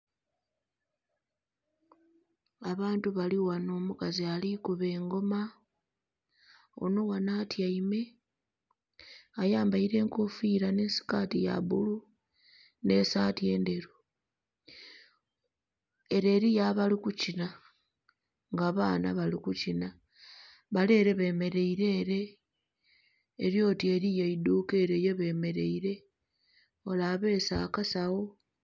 Abantu balighano. Omukazi ali kuba engoma onho ghanho atyaime, ayambaile enkofiira nhi sikaati ya bbulu nh'esaati endheru. Ele eliyo abali kukinha. Nga abaana bali kukinha. Bale ele bemeleile ele, eli oti eliyo eidhuuka ele yebemeleile. Ole abeese akasagho.